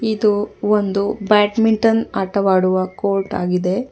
ಇದು ಒಂದು ಬ್ಯಾಟ್ಮಿಟನ್ ಆಟವಾಡುವ ಕೋರ್ಟ್ ಆಗಿದೆ.